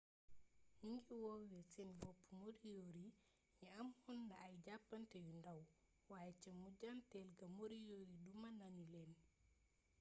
nu ngi woowee seen bopp moriori yi amoon na ay jàppante yu ndaw waaye ca mujjanteel ga moriori duma nanu leen